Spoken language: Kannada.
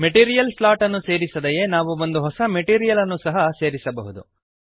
ಮೆಟೀರಿಯಲ್ ಸ್ಲಾಟ್ ಅನ್ನು ಸೇರಿಸದೆಯೇ ನಾವು ಒಂದು ಹೊಸ ಮೆಟೀರಿಯಲ್ ಅನ್ನು ಸಹ ಸೇರಿಸಬಹುದು